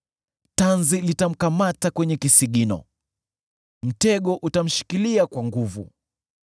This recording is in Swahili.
Tanzi litamkamata kwenye kisigino; mtego utamshikilia kwa nguvu.